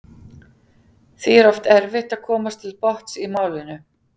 Því er oft erfitt að komast til botns í málinu.